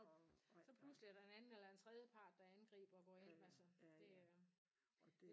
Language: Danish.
Og så pludselig er der en anden eller en tredjepart der angriber hvorend altså det øh